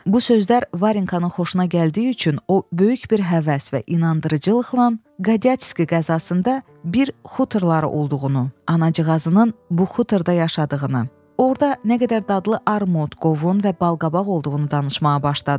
Bu sözlər Varenkanın xoşuna gəldiyi üçün o böyük bir həvəs və inandırıcılıqla Qadyatski qəzasında bir xuturları olduğunu, anacığazının bu xuturda yaşadığını, orda nə qədər dadlı armud, qovun və balqabaq olduğunu danışmağa başladı.